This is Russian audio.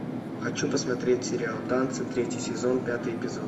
хочу посмотреть сериал танцы третий сезон пятый эпизод